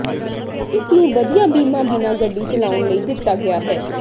ਕਿਸ ਨੂੰ ਵਧੀਆ ਬੀਮਾ ਬਿਨਾ ਗੱਡੀ ਚਲਾਉਣ ਲਈ ਦਿੱਤਾ ਗਿਆ ਹੈ